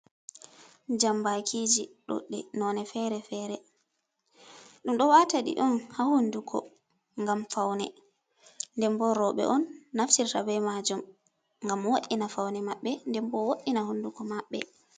Jambaakiiji ɗuuɗɗi noone feere-feere, ɗum ɗo waata ɗi on haa hunduko ngam fawne nden boo rooɓe on naftirta bee maajum ngam waddina fawne maɓɓe nden bo wooɗina hunnuko maɓɓe.